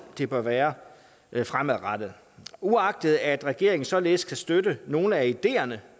det bør være fremadrettet uagtet at regeringen således kan støtte nogle af ideerne